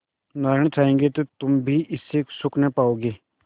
नारायण चाहेंगे तो तुम भी इससे सुख न पाओगे